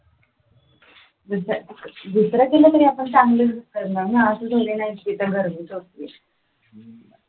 दुसरा केला तरी आपण चांगलंच book करणार ना, असा थोडी ना आहे कि तिथे